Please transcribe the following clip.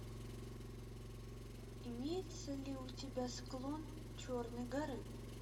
имеется ли у тебя склон черной горы